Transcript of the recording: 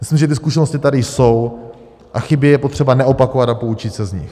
Myslím, že ty zkušenosti tady jsou a chyby je potřeba neopakovat a poučit se z nich.